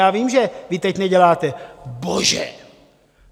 Já vím, že vy teď neděláte: Bože!